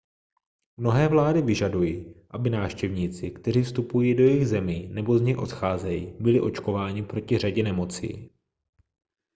mnohé vlády vyžadují aby návštěvníci kteří vstupují do jejich zemí nebo z nich odcházejí byli očkováni proti řadě nemocí